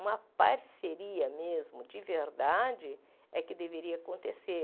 Uma parceria mesmo, de verdade, é que deveria acontecer.